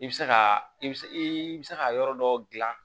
I bɛ se ka i bɛ se i bɛ se ka yɔrɔ dɔ dilan